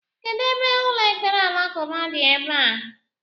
Kedụ ebe ụlọ ekpere alakụba dị ebea?